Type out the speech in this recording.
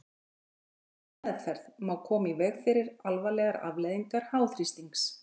Með réttri meðferð má koma í veg fyrir alvarlegar afleiðingar háþrýstings.